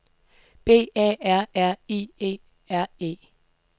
B A R R I E R E